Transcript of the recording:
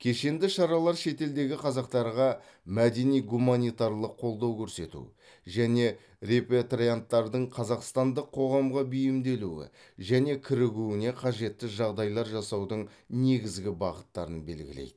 кешенді шаралар шетелдегі қазақтарға мәдени гуманитарлық қолдау көрсету және репатрианттардың қазақстандық қоғамға бейімделуі және кірігуіне қажетті жағдайлар жасаудың негізгі бағыттарын белгілейді